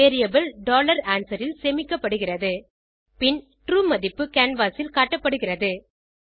variable answer ல் சேமிக்கப்படுகிறது பின் ட்ரூ மதிப்பு கேன்வாஸ் ல் காட்டப்படுகிறது